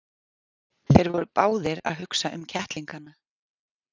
Þeir voru báðir að hugsa um kettlingana.